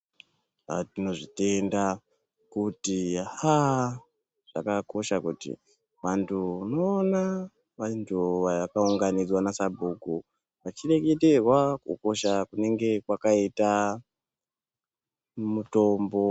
Aa tinozvitenda kuti aaa zvakakosha kuti vantu unoona vantu vakaunganidzwa nasabhuku, vachireketerwa kukosha kunenge kwakaita mutombo.